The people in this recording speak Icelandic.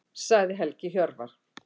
Sagði Helgi Hjörvar.